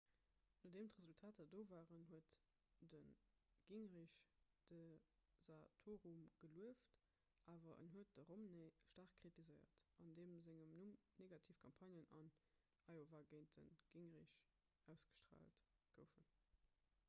nodeem d'resultater do waren huet de gingrich de santorum gelueft awer en huet de romney staark kritiséiert an deem sengem numm negativ campagnen an iowa géint de gingrich ausgestraalt goufen